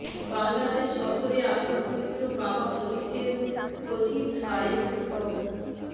বাংলাদেশ সফরে আসা পবিত্র কাবা শরিফের খতিব শায়েখ ড